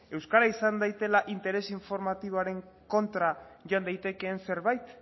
euskara izan daitela interes informatiboaren kontra joan daitekeen zerbait